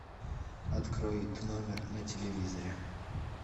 открой тномер на телевизоре